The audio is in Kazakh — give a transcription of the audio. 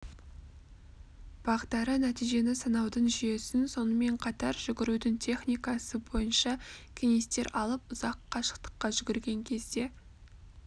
бағдары нәтижені санаудың жүйесін сонымен қатар жүгірудің техникасы бойынша кеңестер алып ұзақ қашықтыққа жүгірген кезде